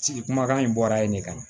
Sigi kumakan in bɔra yen de ka na